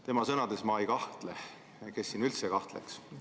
Tema sõnades ma ei kahtle – kes siin üldse kahtleks.